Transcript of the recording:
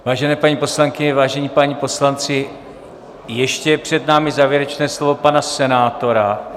Vážené paní poslankyně, vážení páni poslanci, ještě je před námi závěrečné slovo pana senátora.